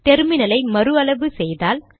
டெர்மினலை மறு அளவு செய்தால்